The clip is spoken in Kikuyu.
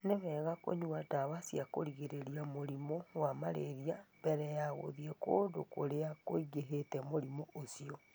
Nĩ wega kũnyua ndawa cia kũgirĩrĩria mũrimũ wa malaria mbere ya gũthiĩ kũndũ kũrĩa kũingĩhĩte mũrimũ ũcio.